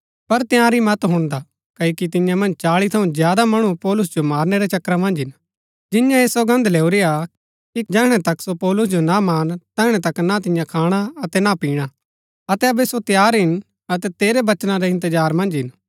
पर तंयारी मत हुणदा क्ओकि तियां मन्ज चाळी थऊँ ज्यादा मणु पौलुस जो मारनै रै चक्करा मन्ज हिन जिन्यैं ऐह सौगन्द लैऊरी हा कि जैहणै तक सो पौलुस जो ना मारन तैहणै तक ना तियां खाणा अतै ना पिणा अतै अबै सो तैयार हिन अतै तेरै वचना रै इंतजार मन्ज हिन